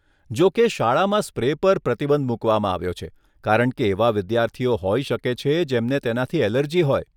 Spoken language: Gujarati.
જોકે, શાળામાં સ્પ્રે પર પ્રતિબંધ મૂકવામાં આવ્યો છે કારણ કે એવા વિદ્યાર્થીઓ હોઈ શકે છે જેમને તેનાથી એલર્જી હોય.